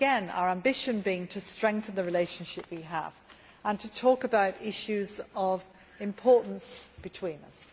our ambition, here again, being to strengthen the relationship we have and to talk about issues of importance between us.